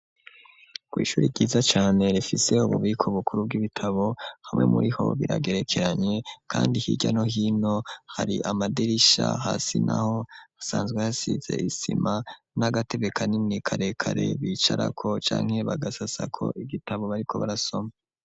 Ko'ishuri ryiza cane refiseho bubiko bukuru bw'ibitabo hamwe muri ho biragerekeranye, kandi hirya no hino hari amaderisha hasi na ho hasanzwe hasize isima n'agatebe ka nini karekare bicarako canke bagasasako igitabo bariko barasoma.